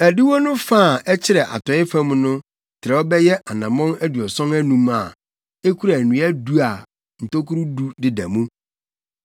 “Adiwo no fa a ɛkyerɛ atɔe fam no trɛw bɛyɛ anammɔn aduɔson anum a ekura nnua du a ntokuru du deda mu.